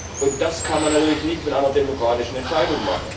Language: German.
Das erreicht man natürlich nicht mit einer demokratischen Entscheidung.